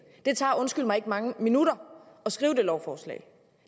det tager undskyld mig ikke mange minutter at skrive det lovforslag